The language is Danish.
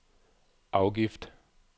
afgift